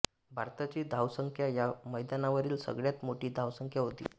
भारताची धावसंख्या या मैदानावरील सगळ्यात मोठी धावसंख्या होती